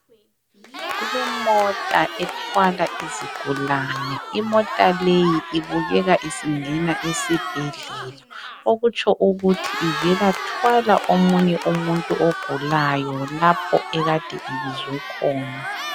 Kulemota ethwala izigulane imota leyi ibukeka isingena esibhedlela okutsho ukuthi uvela thwala omunye umuntu ogulayo lapho ekade ibizwe khona